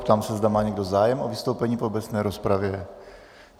Ptám se, zda má někdo zájem o vystoupení v obecné rozpravě.